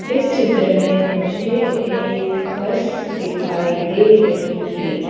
इस चित्र में मुझे एक बस दिखाई दे रही है।